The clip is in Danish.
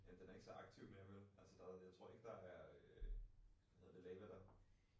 Ja den er ikke så aktiv mere vel? Altså der jeg tror ikke der er øh hvad hedder det øh lava der